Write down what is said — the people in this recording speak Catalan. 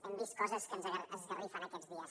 hem vist coses que ens esgarrifen aquests dies